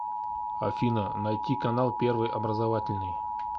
афина найти канал первый образовательный